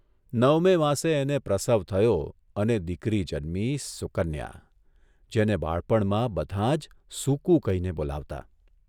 નવમે માસે એને પ્રસવ થયો અને દીકરી જન્મી સુકન્યા જેને બાળપણમાં બધાં જ' સુકુ' કહીને બોલાવતાં.